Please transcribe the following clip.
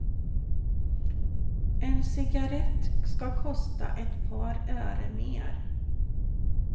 En cigarrett ska kosta ett par öre mer.